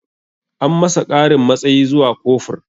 An masa ƙarin matsayi zuwa kofur